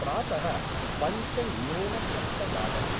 प्रात: पञ्च न्यून सप्तवादनम्